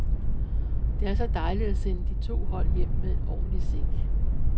Det er så dejligt at sende de to hold hjem med en ordentlig sæk.